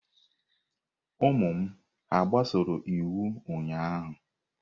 Ụmụ m hà gbasoro iwu ụnyahụ?